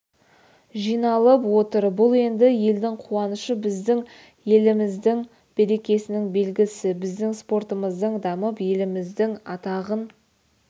жиналып отыр бұл енді елдің қуанышы біздің еліміздің берекесінің белгісі біздің спортымыздың дамып еліміздің атағын